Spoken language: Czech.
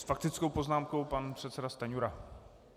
S faktickou poznámkou pan předseda Stanjura.